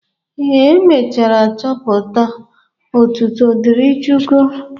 Ee, emechara chọpụta. Otuto dịri Chukwu.